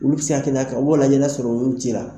Olu bɛ se tɛliya ka mɔgɔ lajɛ no ya sɔrɔ olu bɛ ci la.